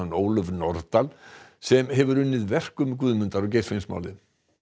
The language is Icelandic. Ólöf Nordal sem hefur unnið verk um Guðmundar og Geirfinnsmálið